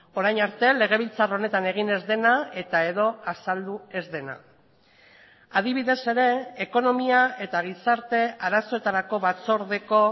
orain arte legebiltzar honetan egin ez dena eta edo azaldu ez dena adibidez ere ekonomia eta gizarte arazoetarako batzordeko